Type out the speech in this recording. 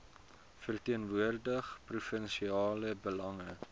verteenwoordig provinsiale belange